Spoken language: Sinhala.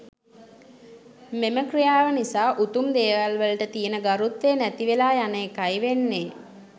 මෙම ක්‍රියාව නිසා උතුම් දේවල් වලට තියෙන ගරුත්වය නැති වෙලා යන එකයි වෙන්නේ.